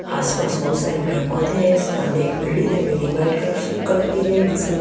आसपास बहुत सारे पेड़ पौधे हैं सामने एक बिल्डिंग है बिल्डिंग व्हाइट कलर कलर की गई जिसमें--